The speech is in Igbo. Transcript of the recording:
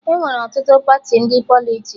Enwere ọtụtụ Pati ndị Politiks